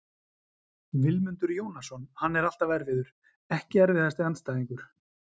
Vilmundur Jónasson, hann er alltaf erfiður Ekki erfiðasti andstæðingur?